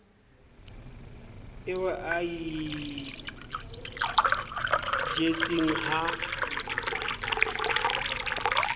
eo a e jetseng ha